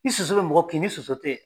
Ni soso bɛ mɔgɔ kin ni soso tɛ yen.